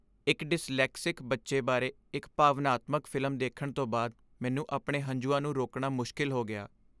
ਇੱਕ ਡਿਸਲੈਕਸਿਕ ਬੱਚੇ ਬਾਰੇ ਇੱਕ ਭਾਵਨਾਤਮਕ ਫਿਲਮ ਦੇਖਣ ਤੋਂ ਬਾਅਦ ਮੈਨੂੰ ਆਪਣੇ ਹੰਝੂਆਂ ਨੂੰ ਰੋਕਣਾ ਮੁਸ਼ਕਲ ਹੋ ਗਿਆ।